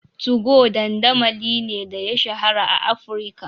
2go dandamali ne da ya shahara a Afirka,